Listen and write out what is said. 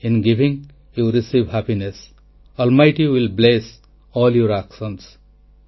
in giving you receive happiness almighty will bless all your actions